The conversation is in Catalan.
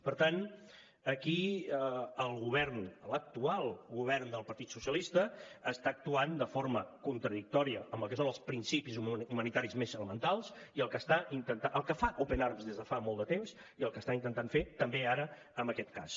per tant aquí el govern l’actual govern del partit socialista està actuant de forma contradictòria amb el que són els principis humanitaris més elementals el que fa open arms des de fa molt de temps i el que està intentant fer també ara en aquest cas